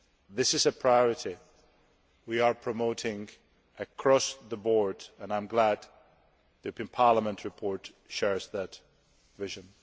This is a priority we are promoting across the board, and I am glad the European Parliament report shares that vision.